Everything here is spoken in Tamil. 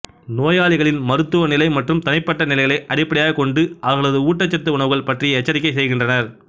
நோயாளிகளின் மருந்துவ நிலை மற்றும் தனிப்பட்ட நிலைகளை அடிப்படையாகக் கொண்டு அவர்களது ஊட்டச்சத்து உணவுகள் பற்றி எச்சரிக்கை செய்கின்றனர்